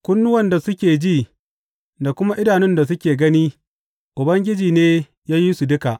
Kunnuwan da suke ji da kuma idanun da suke gani, Ubangiji ne ya yi su duka.